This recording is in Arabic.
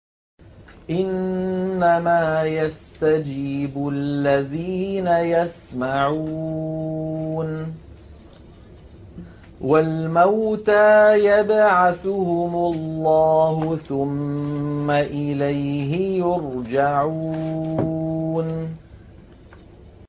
۞ إِنَّمَا يَسْتَجِيبُ الَّذِينَ يَسْمَعُونَ ۘ وَالْمَوْتَىٰ يَبْعَثُهُمُ اللَّهُ ثُمَّ إِلَيْهِ يُرْجَعُونَ